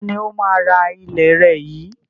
Ta ni ó máa rà ilẹ̀ rẹ yìí